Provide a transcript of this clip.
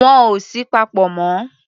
Wọn ò sí papọ̀ mọ́.